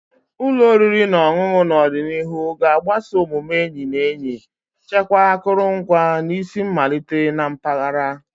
Ụlọ oriri na ọṅụṅụ n'ọdịnihu ga-agbaso omume enyi na enyi, chekwaa akụrụngwa, na isi mmalite na mpaghara.